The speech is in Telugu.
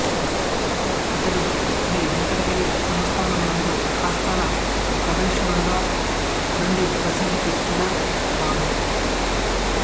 ఇతడు శ్రీ వేంకటగిరి సంస్థానమునందు ఆస్థాన కవీశ్వరుడుగా నుండి ప్రసిద్ధి కెక్కినవాడు